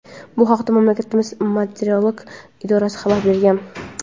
Bu haqda mamlakatning meteorologik idorasi xabar bergan.